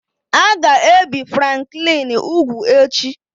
A ga-ebi Franklin úgwù echi